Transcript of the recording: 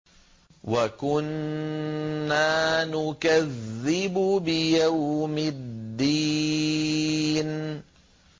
وَكُنَّا نُكَذِّبُ بِيَوْمِ الدِّينِ